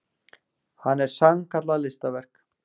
Hann er sannkallað listaverk.